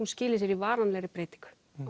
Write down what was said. skili sér í varanlegri breytingu